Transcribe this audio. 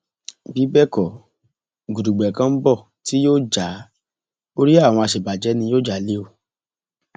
bí bẹẹ kọ gudugbẹ kan ń bọ tí yóò já orí àwọn àṣebàjẹ ni yóò já lé o